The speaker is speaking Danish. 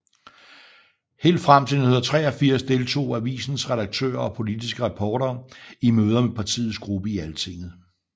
Helt frem til 1983 deltog avisens redaktører og politiske reportere i møder med partiets gruppe i Altinget